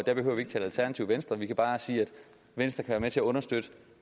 venstre vi kan bare sige at venstre kan med til at understøtte